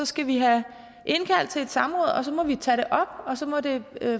skal vi have indkaldt til et samråd og så må vi tage det op og så må det